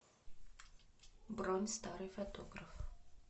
бронь старый фотограф